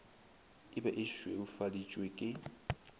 e be e šweufaditšwe ke